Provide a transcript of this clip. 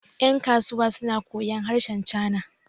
yankasuwa suna koyon harshen china